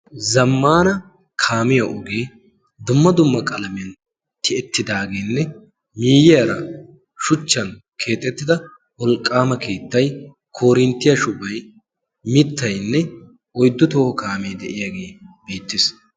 zammaana kaamiya ogee dumma dumma qalamiyan keexeettidaageenne miiyiyaara shuchchan keexettida wolqqaama keettai korinttiyaa shubai mittainne oiddu too kaamee de7iyaagee beettiis.